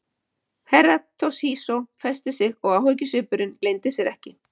Herra Toshizo festi sig og áhyggjusvipurinn leyndi sér ekki.